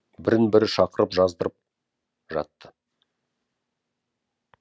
бірін бірі шақырып жаздырып жатты